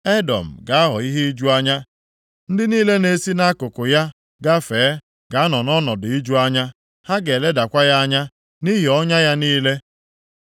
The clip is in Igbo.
“Edọm ga-aghọ ihe iju anya. Ndị niile na-esi nʼakụkụ ya agafe ga-anọ nʼọnọdụ iju anya, ha ga-eledakwa ya anya nʼihi ọnya ya niile.